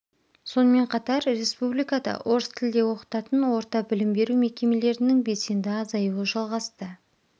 сонымен қатар республикада орыс тілде оқытатын орта білім беру мекемелерінің белсенді азаюы жалғасты